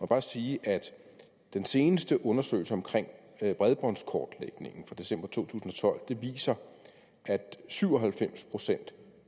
bare sige at den seneste undersøgelse af bredbåndskortlægningen fra december to tusind og tolv viser at syv og halvfems procent